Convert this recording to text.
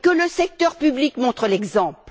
Que le secteur public montre l'exemple!